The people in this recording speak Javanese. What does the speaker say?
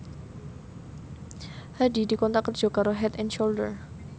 Hadi dikontrak kerja karo Head and Shoulder